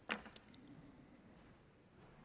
er